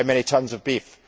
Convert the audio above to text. How many tonnes of beef?